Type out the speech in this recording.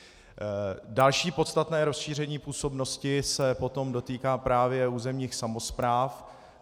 Další podstatné rozšíření působnosti se potom dotýká právě územních samospráv.